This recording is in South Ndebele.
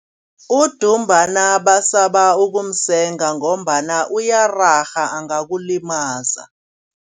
Udumbana basaba ukumusenga ngombana uyararha angakulimaza.